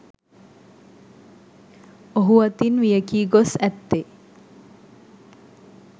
ඔහු අතින් වියැකී ගොස් ඇත්තේ